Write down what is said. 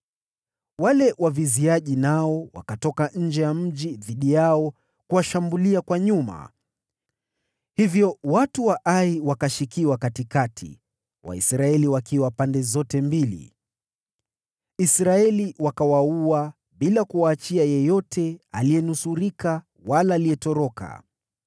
Wale waviziaji nao pia wakatoka nje ya mji dhidi yao, hivi kwamba wakashikiwa katikati, Waisraeli wakiwa pande zote mbili. Israeli wakawaua, bila kuwaachia yeyote aliyenusurika wala aliyetoroka.